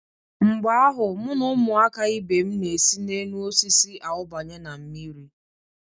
Mgbe ahụ, mụ na ụmụaka ibe m na-esi n'enuosisi awụbanye na mmiri.